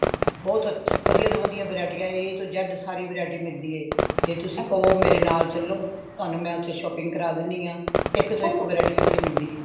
ਬਹੁਤ ਅੱਛੀ ਵਧੀਆ ਤੋਂ ਵਧੀਆ variety A ਤੋਂ z ਸਾਰੀ variety ਮਿਲਦੀ ਏ ਜੇ ਤੁਸੀ ਕਵੋ ਮੇਰੇ ਨਾਲ ਚੱਲੋ ਤੁਹਾਨੂੰ ਮੈਂ ਓਥੇ shopping ਕਰਾ ਦੇਣੀਆਂ ਇੱਕ ਤੋਂ ਇੱਕ variety ਓਥੇ ਮਿਲਦੀ ਏ